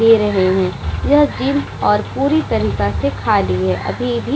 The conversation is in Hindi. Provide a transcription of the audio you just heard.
दे रहे है। यह जिम और पूरी तरीका से खाली है। अभी भी --